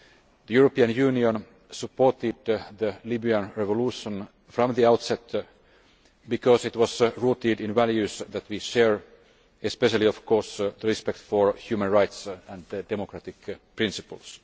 The EU supported the Libyan revolution from the outset because it was rooted in values that we share, especially of course respect for human rights and democratic principles.